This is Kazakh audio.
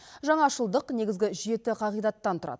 жаңашылдық негізгі жеті қағидаттан тұрады